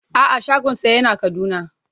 A'a shagonsa yana Kaduna.